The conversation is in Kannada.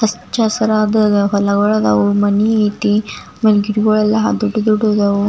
ಹಚ್ಚ್ ಹಸಿರಾದ ಹೊಲಗಳು ಇದಾವು ಮನೆ ಐತೆ ನಮ್ ಗಿಡ್ಗಲೆಲ್ಲಾ ದೊಡ್ಡ ದೊಡ್ಡ ಇದಾವು--